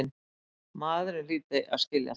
Maðurinn hlyti að skilja það.